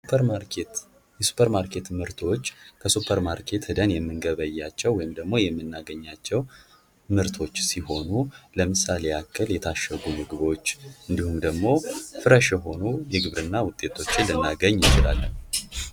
ሱፐር ማርኬት፤ ሱፐር ማርኬት ምርቶች ከሱፐር ማርኬት ሄደን የምንገበያቸው ወይም ደግሞ የምናገኛቸው ምርቶች ሲሆኑ ለምሳሌ ያክል የታሸጉ ምግቦች እንዲሁም ደግሞ ፍረሽ የሆኑ የግብርና ውጤቶችን ልናገኝ እንችላለን።